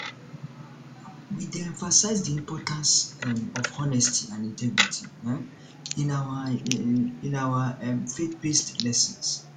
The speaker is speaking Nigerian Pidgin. we dey emphasize the importance um of honesty and integrity um in our um in our um faithbased lessons